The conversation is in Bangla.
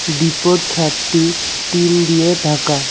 ডিপোর ছাদটি টিন দিয়ে ঢাকা।